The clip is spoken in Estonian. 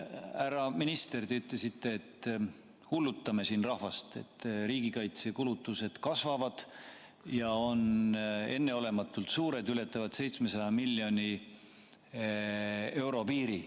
Härra minister, te ütlesite, et me hullutame siin rahvast, et riigikaitsekulutused kasvavad ja on enneolematult suured, ületavad 700 miljoni euro piiri.